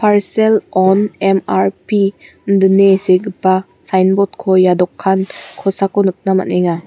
parsel on M_R_P indine segipa signboard-ko ia dokan kosako nikna man·enga.